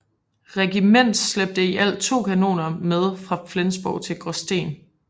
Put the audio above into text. Regiment slæbte i alt to kanoner med fra Flensborg til Gråsten